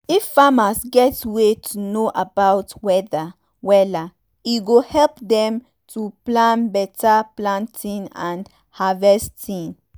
if farmers get way to know um about weather wella e go help dem to um plan beta planting and harvesting. um